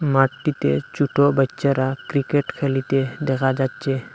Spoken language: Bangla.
মাঠটিতে ছুটো বাইচ্চারা ক্রিকেট খেলিতে দেখা যাচ্চে।